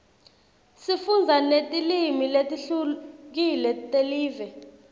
sifundza netilimi letihlukile telive